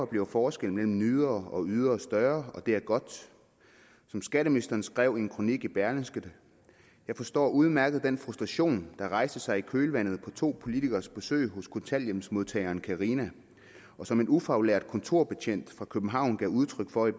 bliver forskellen mellem nydere og ydere større og det er godt som skatteministeren skrev en kronik i berlingske jeg forstår udmærket den frustration der rejste sig i kølvandet på to politikeres besøg hos kontanthjælpsmodtageren carina og som en ufaglært kontorbetjent fra københavn gav udtryk for i